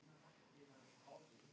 þau eru samt hluti íslensks orðaforða